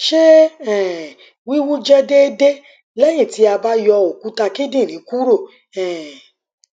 ṣe um wiwu jẹ deede lẹhin ti a ba yọ okuta kindinrin kuro um